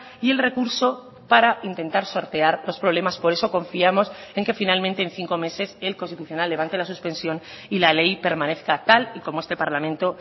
y el recurso para intentar sortear los problemas por eso confiamos en que finalmente en cinco meses el constitucional levante la suspensión y la ley permanezca tal y como este parlamento